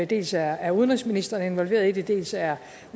dels er udenrigsministeren involveret i det dels er